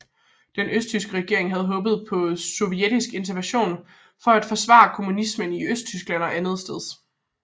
Den østtyske regering havde håbet på sovjetisk intervention for at forsvare kommunismen i Østtyskland og andetsteds